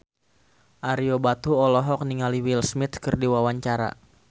Ario Batu olohok ningali Will Smith keur diwawancara